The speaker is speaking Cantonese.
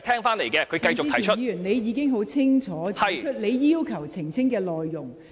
陳志全議員，你已清楚指出你要求澄清的內容。